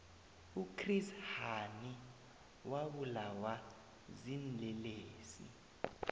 uchris hani wabulawa ziinlelesi